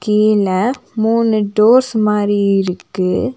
கீழ மூணு டோர்ஸ் மாரி இருக்கு.